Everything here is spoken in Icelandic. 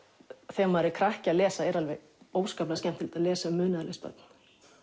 þegar maður er krakki að lesa er óskaplega skemmtilegt að lesa um munaðarlaus börn